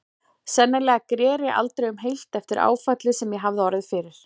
Sennilega greri aldrei um heilt eftir áfallið sem ég hafði orðið fyrir.